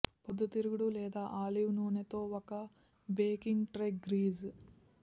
పొద్దుతిరుగుడు లేదా ఆలివ్ నూనె తో ఒక బేకింగ్ ట్రే గ్రీజ్